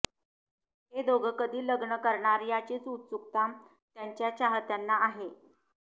हे दोघं कधी लग्न करणार याचीच उत्सुकता त्यांच्या चाहत्यांना आहे